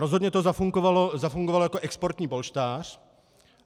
Rozhodně to zafungovalo jako exportní polštář.